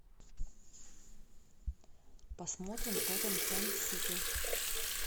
посмотрим тоттенхэм сити